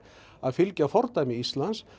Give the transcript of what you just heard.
að fylgja fordæmi Íslands